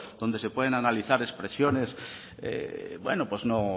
donde se pueden analizar expresiones no